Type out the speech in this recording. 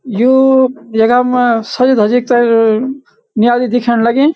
यू यखम सजी धजीक ते म्याली दिखेण लगीं।